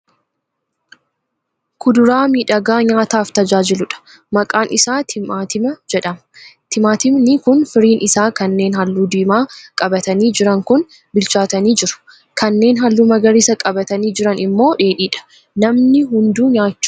Kuduraa miidhagaa nyaataaf tajaajiluudha. Maqaan isaa timaantima jedhama. Timaantimni kun firiin isaa kanneen halluu diimaa qabatanii jiran kun bilchaatanii jiru; kanneen halluu magariisaa qabatanii jiran immoo dheedhiidha. Namni hunduu nyaachuu ni jaallataa?